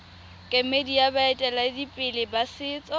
kemedi ya baeteledipele ba setso